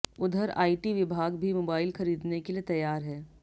उधर आईटी विभाग भी मोबाइल खरीदने के लिए तैयार है